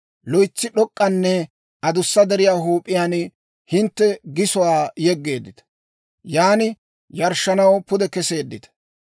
loytsi d'ok'k'anne adussa deriyaa huup'iyaan hintte gisuwaa yeggeeddita; yan yarshshanaw pude keseeddita.